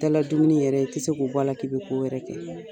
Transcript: Daara dumuni yɛrɛ i tɛ se k'o bɔ a la k'i bɛ ko wɛrɛ kɛ.